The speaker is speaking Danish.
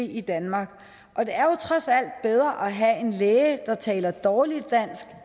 i danmark og det er trods alt bedre at have en læge der taler dårligt dansk